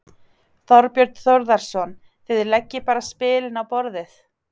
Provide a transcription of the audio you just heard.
Þorbjörn Þórðarson: Þið leggið bara spilin á borðið?